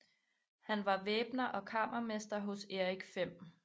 Han var væbner og kammermester hos Erik 5